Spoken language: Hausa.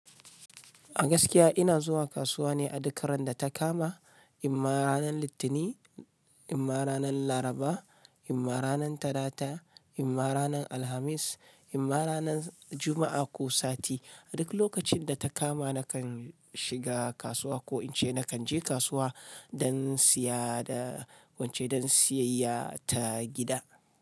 A gaskiya ina zuwa kasuwa ne a duk ran da ta kama, imma ranar Litinin, imma ranar Laraba, imma ranar Talata, imma ranar Alhamis, imma ranar Juma'a ko sati. A duk lokacin da ta kama nakan shiga kasuwa ko in ce nakan je kasuwa don siya da wance don siyayya ta gida.